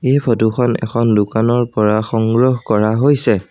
এই ফটো খনত এখন দোকানৰ পৰা সংগ্ৰহ কৰা হৈছে।